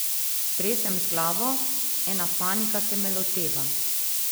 Stresem z glavo, ena panika se me loteva.